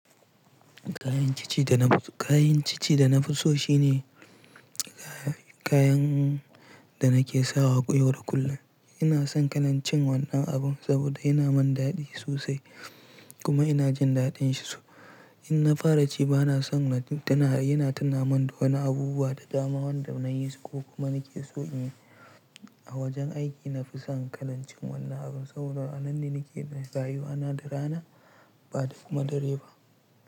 Kayan cici da nafi so shine kayan da na ke sawa koyar kullum. Ina son kalan cin wannan abun saboda yana mun daɗi sosai kuma ina jin daɗin shi so. In na fara ci ba na son yana tuna mun da wani abubuwa da dama wanda na yi su ko kuma na ke so in yi. A wajen aiki nafi son kalan cin wannan abun saboda a nan ne na ke bin rayuwa na da rana ba da ku ma dare ba.